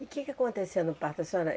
E que que acontecia no parto, a senhora